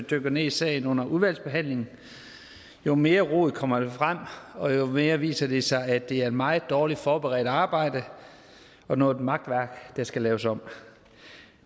dykker ned i sagen under udvalgsbehandlingen jo mere rod kommer der frem og jo mere viser det sig at det er et meget dårligt forberedt arbejde og noget makværk der skal laves om